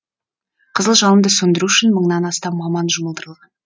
қызыл жалынды сөндіру үшін мыңнан астам маман жұмылдырылған